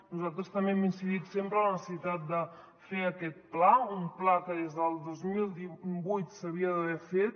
nosaltres també hem incidit sempre en la necessitat de fer aquest pla un pla que des del dos mil vuit s’havia d’haver fet